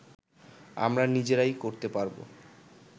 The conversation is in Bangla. আমরা নিজেরাই করতে পারবো